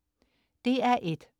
DR1: